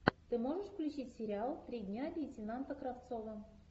ты можешь включить сериал три дня лейтенанта кравцова